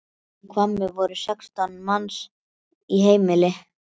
Í Hvammi voru sextán manns í heimili.